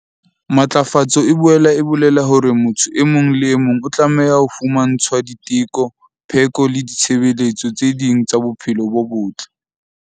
Matlafatso e boela e bolela hore motho e mong le e mong o tlameha ho fumantshwa diteko, pheko le ditshebeletso tse ding tsa bophelo bo botle.